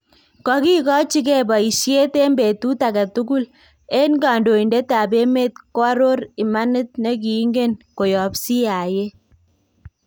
"Kokikochikei bayisyeet en betut agetukul , en kandoindetab emeet koaroor imaniit nekingeen koyaab CIA."